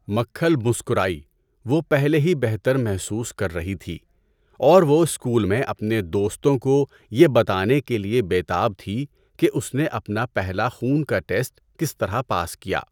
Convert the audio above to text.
مکھل مسکرائی، وہ پہلے ہی بہتر محسوس کر رہی تھی اور وہ اسکول میں اپنے دوستوں کو یہ بتانے کے لیے بے تاب تھی کہ اس نے اپنا پہلا خون کا ٹیسٹ کس طرح پاس کیا!